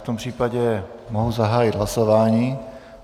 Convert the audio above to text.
V tom případě mohu zahájit hlasování.